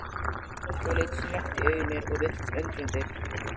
Áslaug leit snöggt í augu mér og virtist undrandi.